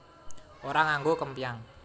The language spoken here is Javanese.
Ora nganggo kempyang